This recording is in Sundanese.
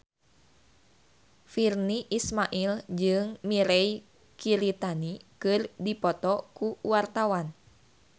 Virnie Ismail jeung Mirei Kiritani keur dipoto ku wartawan